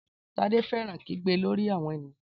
Tade fẹ́ràn kígbe lórí àwọn ènìyàn